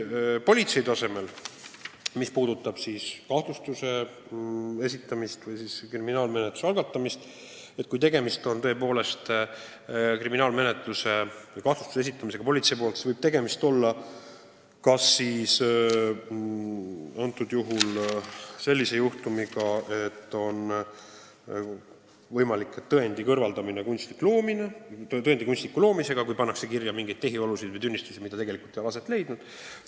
Kui asi puudutab politsei tööd, kahtlustuse esitamist või kriminaalmenetluse algatamist, siis võib tegemist olla sellise juhtumiga, kus on olnud võimalik tõendi kunstlik loomine: kui on kirja pandud mingeid tehiolusid või tunnistusi, mida tegelikult ei ole olnud.